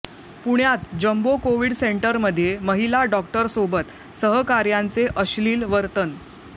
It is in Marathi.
पुण्यात जम्बो कोविड सेंटरमध्ये महिला डॉक्टरसोबत सहकाऱ्यांचे अश्लील वर्तन